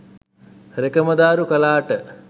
රෙකමදාරු කලාට